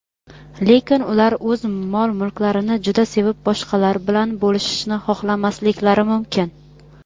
lekin ular o‘z mol-mulklarini juda sevib boshqalar bilan bo‘lishishni xohlamasliklari mumkin.